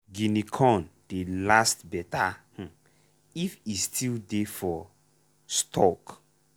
guinea corn dey last better um if e still dey for stalk.